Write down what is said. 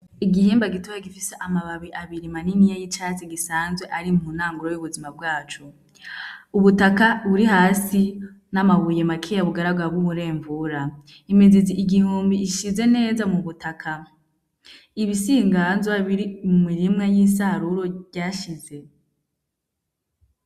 Igihimba gitoyi gifise amababi abiri maniniya y'icatsi gisanzwe ari ku ntango y'ubuzima bwaco , ubutaka buri hasi n'amabuye makeya bigaragara nk'umurengura , imizi igihumbi ishize neza mu butaka , ibisigazwa biri mu mirima y'insaruro ryashize.